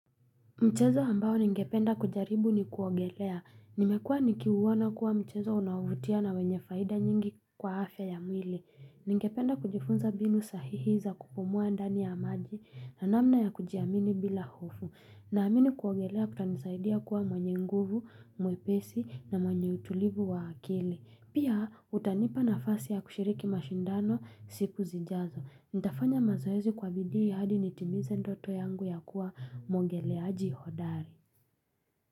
Mchezo ambao ningependa kujaribu ni kuongelea. Nimekuwa nikiuona kuwa mchezo unaovutia na wenye faida nyingi kwa afya ya mwili. Ningependa kujifunza mbinu sahihi za kupumua ndani ya maji na namna ya kujiamini bila hofu. Naamini kuogelea kutanisaidia kuwa mwenye nguvu, mwepesi na mwenye utulivu wa akili. Pia utanipa nafasi ya kushiriki mashindano siku zijazo. Nitafanya mazoezi kwa bidii hadi nitimize ndoto yangu ya kuwa mwogeleaji hodari.